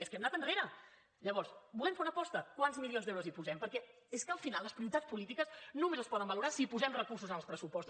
és que hem anant enrere llavors volem fer una aposta quants milions d’euros hi posem perquè és que al final les prioritats polítiques només es poden valorar si hi posem recursos en els pressupostos